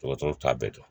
Dɔgɔtɔrɔw t'a bɛɛ dɔn